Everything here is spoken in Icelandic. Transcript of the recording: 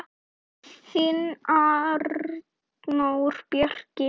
Þinn Arnór Bjarki.